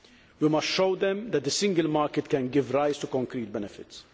We must show them that the single market can give rise to concrete benefits.